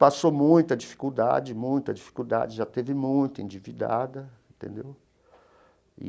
Passou muita dificuldade, muita dificuldade, já teve muita, endividada, entendeu? E.